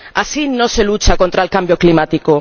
Así no se lucha contra el cambio climático.